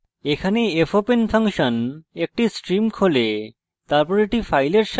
এখানে fopen function একটি stream প্রবাহ খোলে